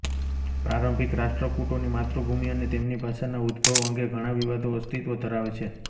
પ્રારંભિક રાષ્ટ્રકૂટોની માતૃભુમી અને તેમની ભાષાના ઉદ્ભવ અંગે ઘણા વિવાદો અસ્તિત્વ ધરાવે છે